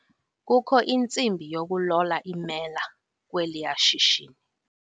Kukho intsimbi yokulola iimela kweliya shishini.